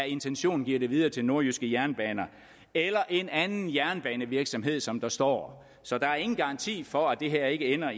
intention giver det videre til nordjyske jernbaner eller en anden jernbanevirksomhed som der står så der er ingen garanti for at det her ikke ender